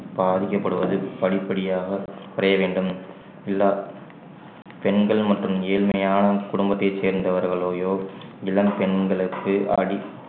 பாதிக்கப்படுவது படிப்படியாக குறைய வேண்டும் எல்லா பெண்களும் மற்றும் ஏழ்மையான குடும்பத்தைச் சேர்ந்தவர்களையோ இளம் பெண்களுக்கு அடிப்~